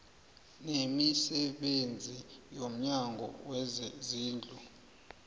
nemisebenzi yomnyango wezezindlu